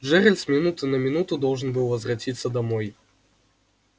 джералд с минуты на минуту должен был возвратиться домой